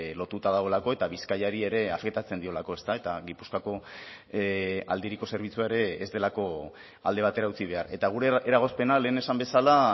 lotuta dagoelako eta bizkaiari ere afektatzen diolako ezta eta gipuzkoako aldiriko zerbitzua ere ez delako alde batera utzi behar eta gure eragozpena lehen esan bezala